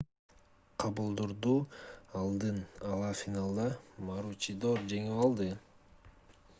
кабултурду алдын ала финалда маручидор жеңип алды